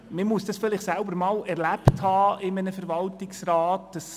– Vielleicht muss man dies einmal selber in einem Verwaltungsrat erlebt haben.